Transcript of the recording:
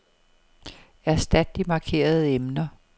Erstat de markerede emner.